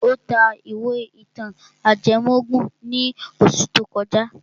Ó ta ìwé ìtàn ajẹmọ́ ògùn ní oṣù tó kọjá.